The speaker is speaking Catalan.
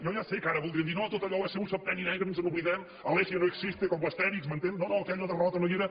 jo ja sé que ara voldrien dir no tot allò va ser un septenni negre ens n’oblidem alesia no existe com l’astèrix m’entén no no aquella derrota no hi era